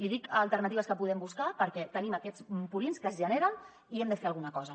li dic alternatives que podem buscar perquè tenim aquests purins que es generen i hi hem de fer alguna cosa